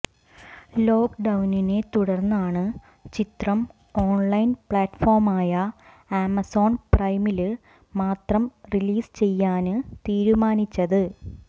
lock ഡൌണിനെ തുടര്ന്നാണ് ചിത്രം ഓണ്ലൈന് പ്ലാറ്റ്ഫോമായ ആമസോണ് പ്രൈമില് മാത്രം റിലീസ് ചെയ്യാന് തീരുമാനിച്ചത്